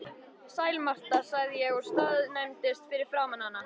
Sæl Marta, sagði ég og staðnæmdist fyrir framan hana.